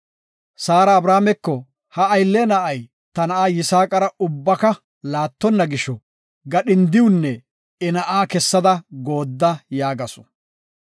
Saara Abrahaameko, “Ha aylle na7ay ta na7a Yisaaqara ubbaka laattonna gisho, gadhindiwunne I na7aa kessada goodda” yaagasu.